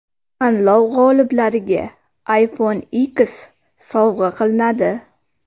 Tanlov g‘oliblariga iPhone X sovg‘a qilinadi.